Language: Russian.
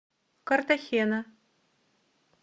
картахена